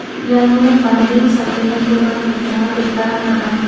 iano mande sakgnikoba nikna gita man·a.